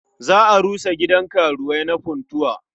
Za a rusa gidan karuwai na Funtuwa.